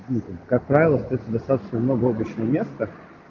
как правило стоит достаточно много обычно место